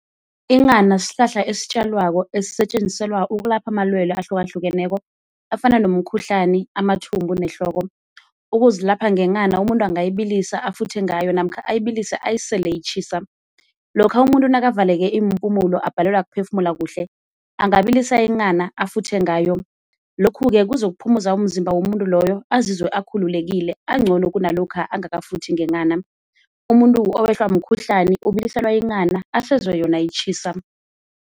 Inghana sihlahla esitjalwako esisetjenziselwa ukulapha amalwele ahlukahlukeneko afana nomkhuhlani, amathumbu nehloko. Ukuzilapha ngenghana umuntu angayibilisa afuthe ngayo namkha ayibilise ayisele itjhisa. Lokha umuntu nakavaleke iimpumulo abhalelwa kuphefumula kuhle angabilisa inghana afuthe ngayo, lokhu-ke kuzokuphumuza umzimba womuntu loyo azizwe akhululekile ancono kunalokha angakafuthi ngenghana. Umuntu owehlwa mkhuhlani ubiliselwa inghana asezwe yona itjhisa.